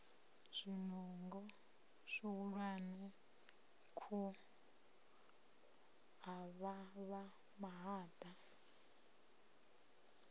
zwinungo zwihulwane khu avhavha mahaḓa